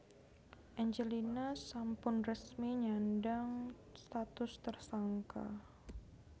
Angelina sampun resmi nyandhang status tersangka